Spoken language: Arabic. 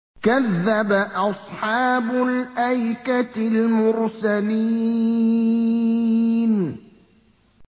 كَذَّبَ أَصْحَابُ الْأَيْكَةِ الْمُرْسَلِينَ